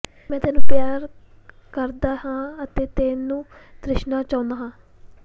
ਮੈਂ ਤੈਨੂੰ ਪਿਆਰ ਕਰਦਾ ਹਾਂ ਅਤੇ ਤੈਨੂੰ ਤ੍ਰਿਸ਼ਨਾ ਚਾਹੁੰਦਾ ਹਾਂ